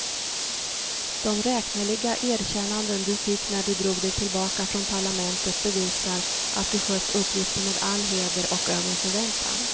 De räkneliga erkännanden du fick när du drog dig tillbaka från parlamentet bevisar, att du skött uppgiften med all heder och över förväntan.